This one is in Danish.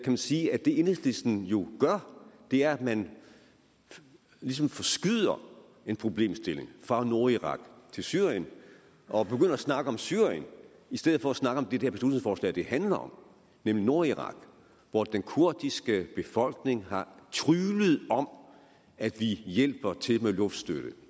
man sige at det enhedslisten jo gør er at man ligesom forskyder en problemstilling fra nordirak til syrien og begynder at snakke om syrien i stedet for at snakke om det det her beslutningsforslag handler om nemlig nordirak hvor den kurdiske befolkning har tryglet om at vi hjælper til med luftstøtte det